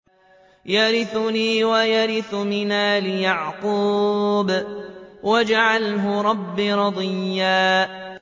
يَرِثُنِي وَيَرِثُ مِنْ آلِ يَعْقُوبَ ۖ وَاجْعَلْهُ رَبِّ رَضِيًّا